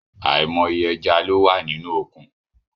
Aimoye eja lo wa ninu okun